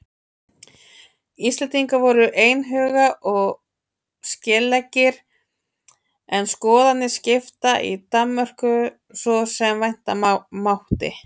Íslendingar voru einhuga og skeleggir en skoðanir skiptar í Danmörku svo sem vænta mátti.